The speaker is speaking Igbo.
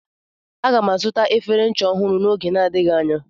Aga m azụta efere ncha ọhụrụ n'oge na-adịghị anya.